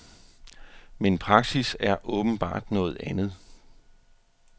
Men praksis er åbenbart noget andet.